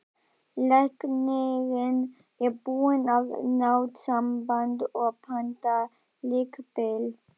Læknirinn er búinn að ná sambandi og pantar líkbíl.